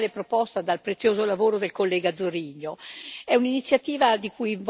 È un'iniziativa di cui voglio solo sottolineare due aspetti, come hanno fatto anche altri colleghi.